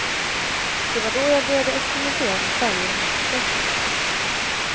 Det var då jag började experimentera med färger och mönster.